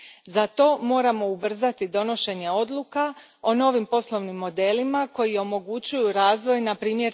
Za to moramo ubrzati donošenje odluka o novim poslovnim modelima koji omogućuju razvoj, npr.